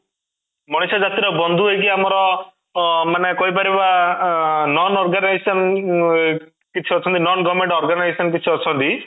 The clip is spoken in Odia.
ମଣିଷ ଜାତି ର ବନ୍ଧୁ ହେଇକି ଆମର ଅଂ ମାନେ କହିପାରିବା non-organisation ଅଂ କିଛି ଅଛନ୍ତି non - government organisation କିଛି ଅଛନ୍ତି